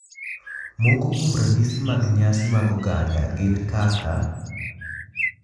Moko kuom ranyisi mag nyasi mag oganda gin kaka,